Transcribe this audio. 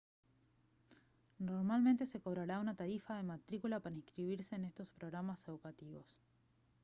normalmente se cobrará una tarifa de matrícula para inscribirse en estos programas educativos